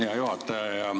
Hea juhataja!